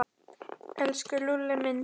Elsku Lúlli minn.